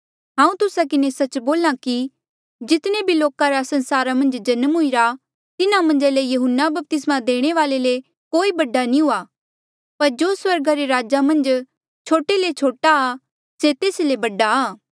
हांऊँ तुस्सा किन्हें सच्च बोल्हा कि जितने भी लोका रा संसारा मन्झ जन्म हुईरा तिन्हा मन्झा ले यहून्ना बपतिस्मा देणे वाल्ऐ ले कोई बडा नी हुआ पर जो स्वर्गा रे राजा मन्झ छोटे ले छोटा आ से तेस ले बडा आ